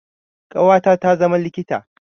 Ƙawata ta zama likita.